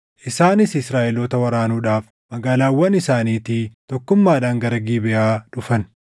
Isaanis Israaʼeloota waraanuudhaaf magaalaawwan isaaniitii tokkummaadhaan gara Gibeʼaa dhufan.